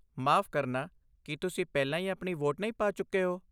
ਮਾਫ਼ ਕਰਨਾ, ਕੀ ਤੁਸੀਂ ਪਹਿਲਾਂ ਹੀ ਆਪਣੀ ਵੋਟ ਨਹੀਂ ਪਾ ਚੁੱਕੇ ਹੋ?